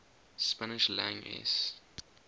spanish lang es